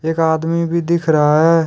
एक आदमी भी दिख रहा है।